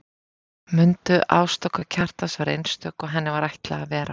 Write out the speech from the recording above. Mundu að ást okkar Kjartans var einstök og henni var ætlað að vera það.